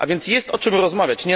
A więc jest o czym rozmawiać.